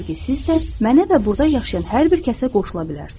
Odur ki, siz də mənə və burda yaşayan hər bir kəsə qoşula bilərsiz.